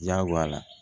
Diyagoya